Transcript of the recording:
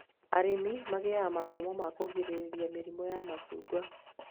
Arĩmi magĩaga mathomo ma kũgirĩrĩria mĩrimũ ya macungwa